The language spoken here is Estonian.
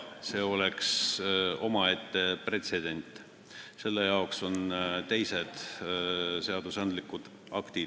See oleks omaette pretsedent ja selle jaoks on olemas teised õigusaktid.